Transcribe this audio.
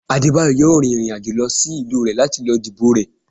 Adebayo yóò rín irín ajò lọ sí ìlú rẹ lati lo dibo rẹ